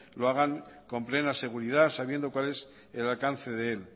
lo hagan con plena seguridad sabiendo cuál es el alcance de él